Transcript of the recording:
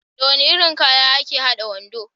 Da wani irin kaya aka hada wando?